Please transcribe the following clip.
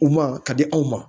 U ma ka di anw ma